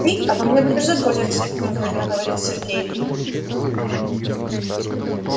ты обо мне будешь заботиться неуверенно говорит сергей